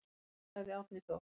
Sagði Árni Þór.